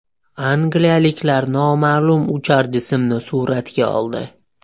Angliyaliklar noma’lum uchar jismni suratga oldi .